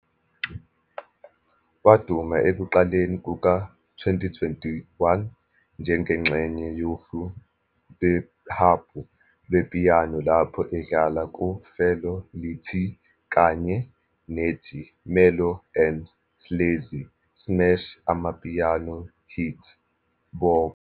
Waduma ekuqaleni kuka-2021 njengengxenye yohlu lwehabhu lepiyano-lapho edlala ku-Felo Le Tee kanye nethi Mellow and Sleazy's smash amapiano hit, " "Bopha" ".